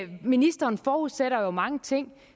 ministeren forudsætter jo mange ting